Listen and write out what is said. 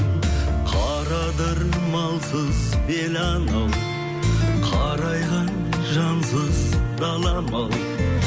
қара адыр малсыз бел анау қарайған жансыз далам ау